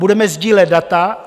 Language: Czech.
Budeme sdílet data.